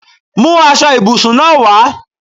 Mú aṣọ ibùsùn náà wá!